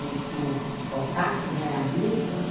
Eles tinham contato né, era amigo.